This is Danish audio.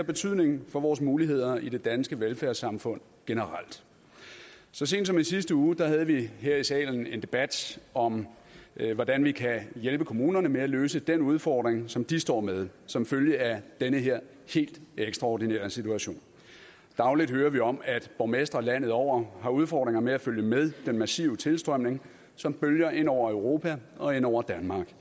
betydning for vores muligheder i det danske velfærdssamfund generelt så sent som i sidste uge havde vi her i salen en debat om hvordan vi kan hjælpe kommunerne med at løse den udfordring som de står med som følge af den her helt ekstraordinære situation dagligt hører vi om at borgmestre landet over har udfordringer med at følge med den massive tilstrømning som bølger ind over europa og ind over danmark